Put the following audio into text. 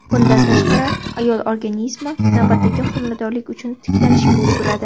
Bundan tashqari, ayol organizmi navbatdagi homiladorlik uchun tiklanishga ulguradi.